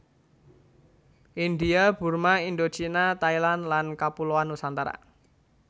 India Burma Indochina Thailand lan Kapuloan Nusantara